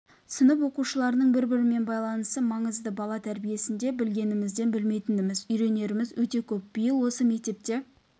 сынып оқушыларының бір-бірімен байланысы маңызды бала тәрбиесінде білгенімізден білмейтініміз үйренеріміз өте көп биыл осы мектепте